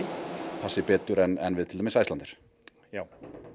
passi betur en við til dæmis Icelandair já